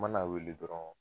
N man'a wele dɔrɔn